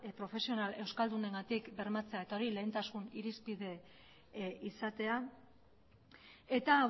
profesional euskaldunengatik bermatzea eta hori lehentasun irizpide izatea eta